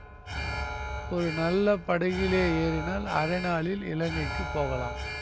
ஒரு நல்ல படகிலே ஏறினால் அரை நாளில் இலங்கைக்கு போகலாம்